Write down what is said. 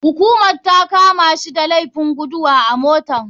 Hukumar takamashi da laifin gudu a mota.